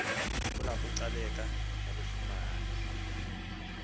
kulapho ugcaleka walifumanayo